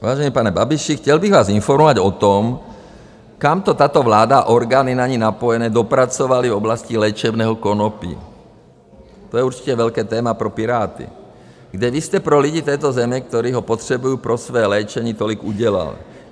Vážený pane Babiši, chtěl bych vás informovat o tom, kam to tato vláda a orgány na ni napojené dopracovaly v oblasti léčebného konopí, to je určitě velké téma pro Piráty, kde vy jste pro lidi této země, kteří ho potřebují pro své léčení tolik udělal.